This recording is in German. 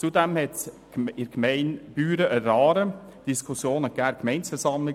Zudem gab es in der Gemeinde Büren an der Aare Diskussionen an der Gemeindeversammlung.